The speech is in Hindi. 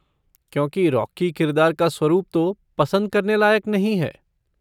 क्योंकि रॉकी किरदार का स्वरुप तो पसंद करने लायक नहीं है।